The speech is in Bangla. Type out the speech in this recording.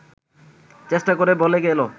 চেষ্টা করে বলে গেল